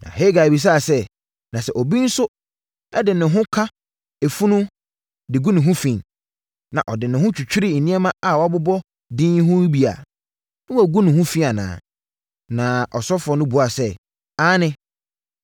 Na Hagai bisaa sɛ, “Na sɛ obi nso de ne ho ka efunu de gu ne ho fi, na ɔde ne ho twitwiri nneɛma a wɔabobɔ din yi bi ho a, na wɔagu ho fi anaa?” Na asɔfoɔ no buaa sɛ, “Aane.”